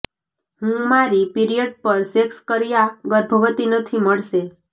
હું મારી પીરિયડ પર સેક્સ કર્યા ગર્ભવતી નથી મળશે